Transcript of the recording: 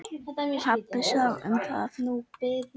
Pabbi sá um það.